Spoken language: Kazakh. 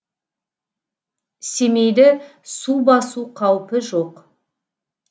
семейді су басу қаупі жоқ